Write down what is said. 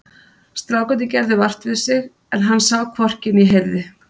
Strákarnir gerðu vart við sig en hann sá hvorki né heyrði.